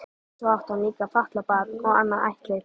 Svo átti hann líka fatlað barn og annað ættleitt.